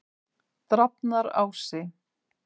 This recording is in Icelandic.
Drafnarási